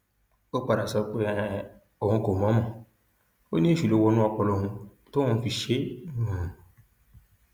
ó padà sọ pé um òun kò mọ ọn mọ ò ní èṣù ló wọnú ọpọlọ òun tóun fi ṣe é um